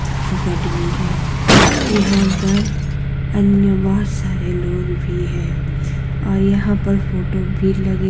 academy है यहां पर अन्य बहुत सारे लोग भी है और यहां पर फोटो भी लगी --